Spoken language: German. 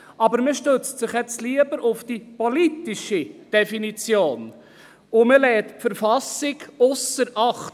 Aber man stützt sich jetzt lieber auf die politische Definition und lässt die Verfassung ausser Acht.